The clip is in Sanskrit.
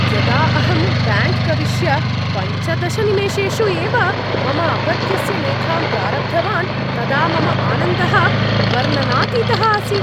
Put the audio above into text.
यदा अहं ब्याङ्क् प्रविश्य पञ्चदश निमेषेषु एव मम अपत्यस्य लेखां प्रारब्धवान् तदा मम आनन्दः वर्णनातीतः आसीत्।